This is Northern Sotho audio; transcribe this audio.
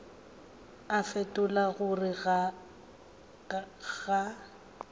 a fetola ka gore ga